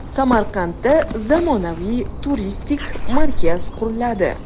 Samarqandda zamonaviy turistik markaz quriladi.